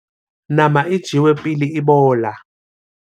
nama e jewe pele e bola